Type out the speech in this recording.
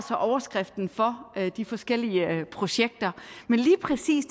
overskriften for de forskellige projekter men lige præcis